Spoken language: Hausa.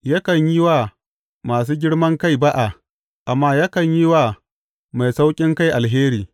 Yakan yi wa masu girman kai ba’a amma yakan yi wa mai sauƙinkai alheri.